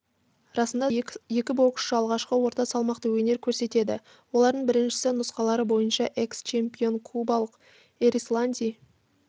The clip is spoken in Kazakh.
расында да екі боксшы алғашқы орта салмақта өнер көрсетеді олардың біріншісі нұсқалары бойынша экс-чемпион кубалық эрисланди